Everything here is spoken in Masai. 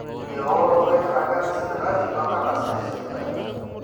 eworoto enkiragata esipitali toonkardasini esipitali